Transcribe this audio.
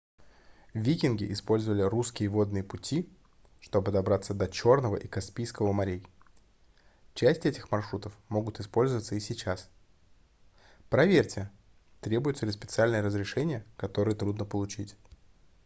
викинги использовали русские водные пути чтобы добраться до чёрного и каспийского морей часть этих маршрутов могут использоваться и сейчас проверьте требуются ли специальные разрешения которые трудно получить